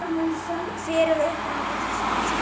Hver er uppruni orðsins hafsent?